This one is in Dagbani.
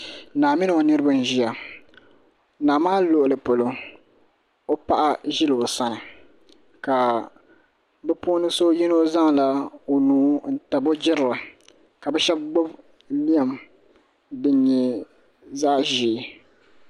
Naa mini o niraba n ʒiya naa maa luɣuli polo o paɣa ʒila o sani ka bi puuni so yino zaŋla o nuu n tabi o jirili ka bi shab gbubi lɛm din nyɛ zaɣ ʒiɛ